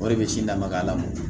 O de bɛ sin damaga la